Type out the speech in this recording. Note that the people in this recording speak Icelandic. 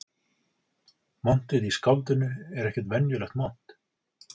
Montið í skáldinu er ekkert venjulegt mont